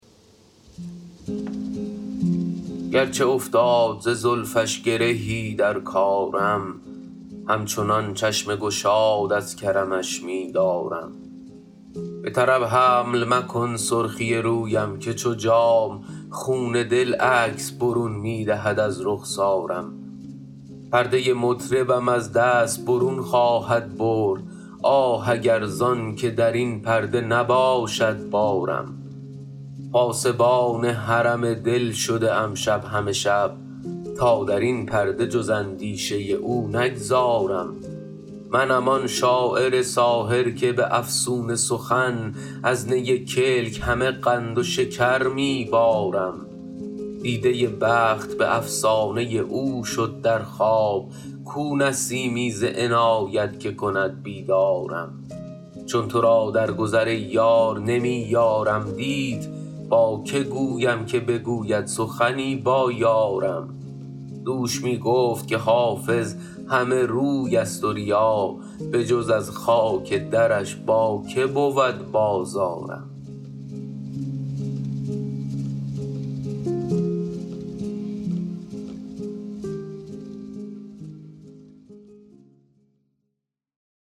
گرچه افتاد ز زلفش گرهی در کارم همچنان چشم گشاد از کرمش می دارم به طرب حمل مکن سرخی رویم که چو جام خون دل عکس برون می دهد از رخسارم پرده مطربم از دست برون خواهد برد آه اگر زان که در این پرده نباشد بارم پاسبان حرم دل شده ام شب همه شب تا در این پرده جز اندیشه او نگذارم منم آن شاعر ساحر که به افسون سخن از نی کلک همه قند و شکر می بارم دیده بخت به افسانه او شد در خواب کو نسیمی ز عنایت که کند بیدارم چون تو را در گذر ای یار نمی یارم دید با که گویم که بگوید سخنی با یارم دوش می گفت که حافظ همه روی است و ریا بجز از خاک درش با که بود بازارم